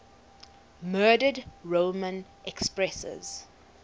murdered roman empresses